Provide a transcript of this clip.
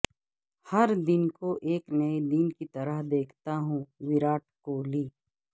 ہر دن کو ایک نئے دن کی طرح دیکھتا ہوں وراٹ کوہلی